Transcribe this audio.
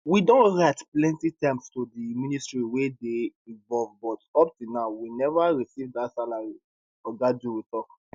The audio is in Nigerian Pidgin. we don write plenty times to di ministries wey dey involved but up till now we neva receive dat salaries oga duru tok